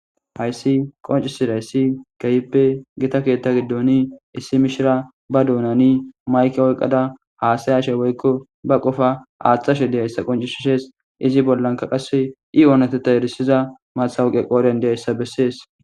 Haysi qoncisizidaysi kehippe gitta ketha gidon issi mishiriya ba dunani mayke oykada hasayashe woykon ba qofa athashe de'izaysa qoncises izzi bollaka qase i onatetha erisiza masitawoqay qodhen dizasa beses